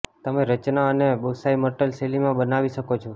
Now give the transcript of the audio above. તમે રચના અને બોંસાઈ મર્ટલ શૈલીમાં બનાવી શકો છો